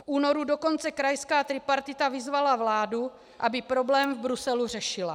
V únoru dokonce krajská tripartita vyzvala vládu, aby problém v Bruselu řešila.